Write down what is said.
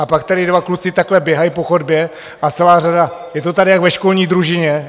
A pak tady dva kluci takhle běhají po chodbě a celá řada, je to tady jak ve školní družině.